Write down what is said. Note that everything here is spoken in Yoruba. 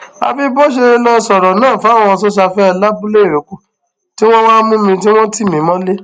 àfi bó ṣe lọọ sọrọ náà fáwọn sosafe labúléìrókò tí wọn wàá mú mi tí wọn tì mí mọlẹ